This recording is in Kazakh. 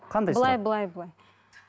қандай сұрақ былай былай былай